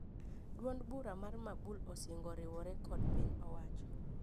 Duond bura mar mabul osingo oriwore kod piny owacho